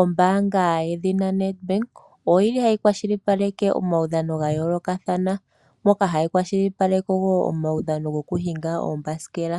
Ombaanga yedhina Nedbank oyili hayi kwa shili paleke omaudhano ga yooloka thana, moka hayi kwa shili paleka wo omaudhano go ku hinga oombasikela,